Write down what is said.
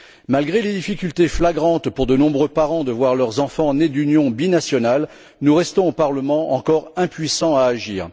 Malgré les difficultés flagrantes pour de nombreux parents de voir leurs enfants nés d'une union binationale, nous restons, au Parlement, encore impuissants à agir.